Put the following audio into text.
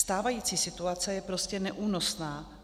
Stávající situace je prostě neúnosná.